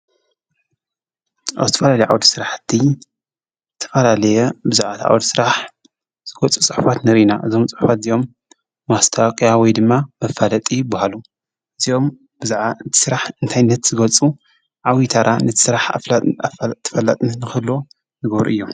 አብ ዝተፈላለየ ዓውደ ስራሕቲ ዝተፈላለየ ብዙሓት ዓዉደ ስራሕ ዝገልፁ ፅሑፋት ንርኢ ኢና። እዞም ፅሕፋት እዚኦም ማስታዋቅያ ወይ ድማ መፋለጢ ይበሃሉ። እዚኦም ብዛዕባ ስራሕ እንታይነት ዝገልፁ ዓብዪ ታራ ነቲ ስራሕ ኣፋለጥቲን ተፈላጥነት ንክህልዎን ዝገብሩ እዮም።